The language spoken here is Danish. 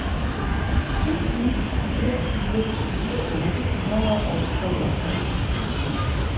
syv ni fire fire tyve otte hundrede og treogfyrre